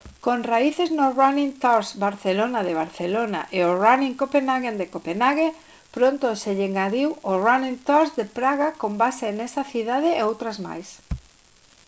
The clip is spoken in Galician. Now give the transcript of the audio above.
con raíces no running tours barcelona de barcelona e o running copenhagen de copenhague pronto se lle engadiu o running tours de praga con base nesa cidade e outras máis